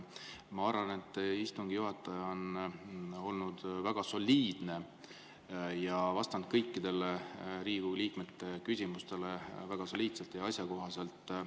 Ma arvan, et istungi juhataja on olnud väga soliidne ja vastanud kõikidele Riigikogu liikmete küsimustele väga soliidselt ja asjakohaselt.